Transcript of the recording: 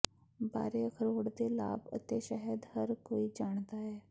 ਬਾਰੇ ਅਖਰੋਟ ਦੇ ਲਾਭ ਅਤੇ ਸ਼ਹਿਦ ਹਰ ਕੋਈ ਜਾਣਦਾ ਹੈ